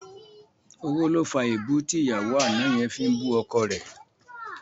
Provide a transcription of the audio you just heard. Owó ló fa èébú tí ìyàwó àná yẹn fi ń bú ọkọ rẹ̀